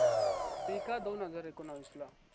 मी का दोनहजार एकोणावीस ला